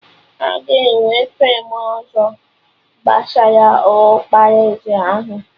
Aga enwe feem ọzọ gbasara ọkpara eze ahụ?